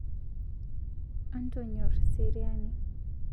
Antonyor seriani